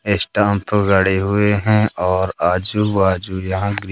stamp गड़े हुए हैं और आजू बाजू यहां की--